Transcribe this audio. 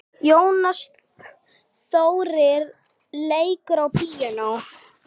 Jónas Þórir leikur á píanó.